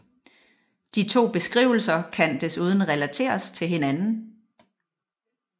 De to beskrivelser kan desuden relateres til hinanden